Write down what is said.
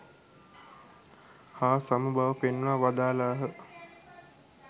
හා සම බව පෙන්වා වදාළහ.